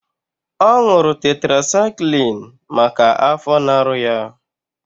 Ọ ṅụrụ tetrasaịklin maka afọ na-arụ ya.